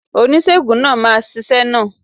Oníṣègùn náà máa ṣiṣẹ́ náà.